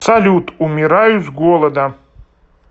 салют умираю с голода